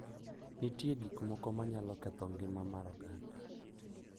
Nitie gik moko ma nyalo ketho ngima mar oganda